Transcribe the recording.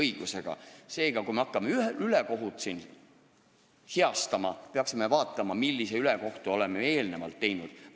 Seega, enne kui me hakkame siin ülekohut heastama, peaksime vaatama, millist ülekohut me oleme eelnevalt teinud.